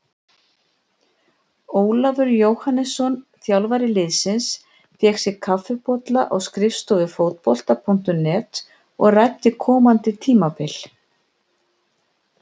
Ólafur Jóhannesson, þjálfari liðsins, fékk sér kaffibolla á skrifstofu Fótbolta.net og ræddi komandi tímabil.